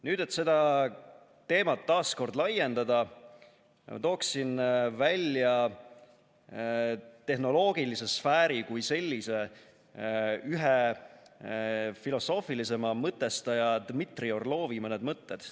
Nüüd, et seda teemat taas kord laiendada, tooksin ära tehnoloogilise sfääri kui sellise ühe filosoofilisema mõtestaja Dmitri Orlovi mõned mõtted.